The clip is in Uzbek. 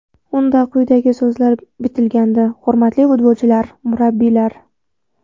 Unda quyidagi so‘zlar bitilgandi: Hurmatli futbolchilar, murabbiylar!